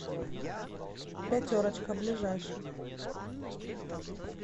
пятерочка ближайший